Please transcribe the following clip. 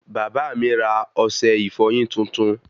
Bàbá mí ra ọsẹ ìfọyín tuntun